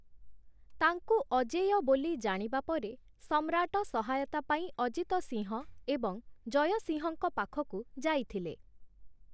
ତାଙ୍କୁ 'ଅଜେୟ' ବୋଲି ଜାଣିବା ପରେ ସମ୍ରାଟ ସହାୟତା ପାଇଁ ଅଜିତ ସିଂହ ଏବଂ ଜୟ ସିଂହଙ୍କ ପାଖକୁ ଯାଇଥିଲେ ।